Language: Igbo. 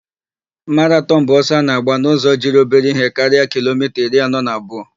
Maratọn bụ ọsọ a na-agba n'ụzọ jiri obere ihe karịa kilomita iri anọ na abụọ.